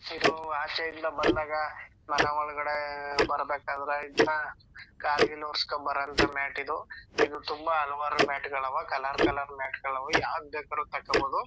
ಇದು ಆಚೆ ಇಂದ ಬಂದಾಗ ಮನೆ ಒಳಗಡೆ ಬರ್ಬೇಕಾದ್ರೆ ಇದ್ನ ಕಾಲ್ ಗಿಲ್ ವರ್ಸ್ಕೊ ಬರಂತೋ ಮ್ಯಾಟ್ ಇದು ಇದು ತುಂಬಾ ಹಲವಾರು ಮ್ಯಾಟ್ ಗುಳು ಆವಾ ಕಲರ್ ಕಲರ್ ಮ್ಯಾಟ್ ಗಳ್ ಆವಾ ಯಾವ್ದು ಬೇಕಾದ್ರು ತಕ್ಕೊಬೋದು.